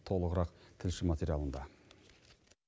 толығырақ тілші материалында